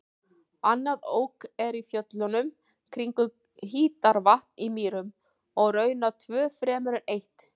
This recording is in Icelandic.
Annað Ok er í fjöllunum kringum Hítarvatn á Mýrum og raunar tvö fremur en eitt.